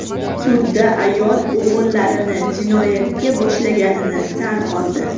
Sudda ayol o‘g‘illarini jinoyatga boshlaganini tan oldi.